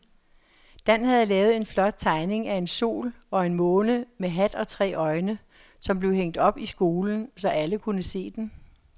Dan havde lavet en flot tegning af en sol og en måne med hat og tre øjne, som blev hængt op i skolen, så alle kunne se den.